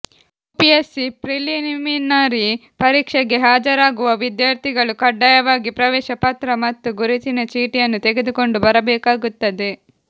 UPSC preliminary ಪರೀಕ್ಷೆಗೆ ಹಾಜರಾಗುವ ವಿದ್ಯಾರ್ಥಿಗಳು ಖಡ್ಡಾಯವಾಗಿ ಪ್ರವೇಶ ಪತ್ರ ಮತ್ತು ಗುರುತಿನ ಚೀಟಿಯನ್ನು ತೆಗೆದುಕೊಂಡು ಬರಬೇಕಾಗುತ್ತದೆ